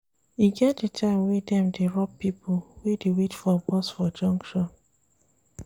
E get di time wey dem dey rob pipo wey dey wait bus for junction.